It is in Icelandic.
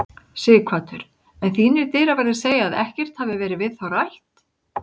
Sighvatur: En þínir dyraverðir segja að ekkert hafi verið við þá rætt?